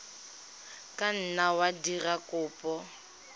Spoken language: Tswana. ka nna wa dira kopo